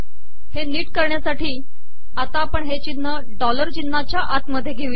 हे नीट करणयासाठी आपण हे िचनह डॉलर िचनहाचया आत घेऊ